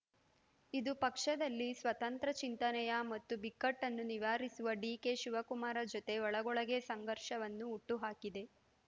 ಇದು ಪಕ್ಷದಲ್ಲಿ ಸ್ವತಂತ್ರ ಚಿಂತನೆಯ ಮತ್ತು ಬಿಕ್ಕಟ್ಟನ್ನು ನಿವಾರಿಸುವ ಡಿಕೆಶಿವಕುಮಾರ ಜೊತೆ ಒಳಗೊಳಗೇ ಸಂಘರ್ಷವನ್ನು ಹುಟ್ಟುಹಾಕಿದೆ